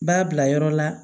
B'a bila yɔrɔ la